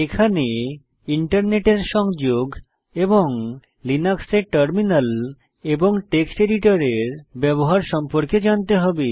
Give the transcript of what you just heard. এখানে ইন্টারনেটের সংযোগ এবং লিনাক্সে টার্মিনাল এবং টেক্সট এডিটরের ব্যবহার সম্পর্কে জানতে হবে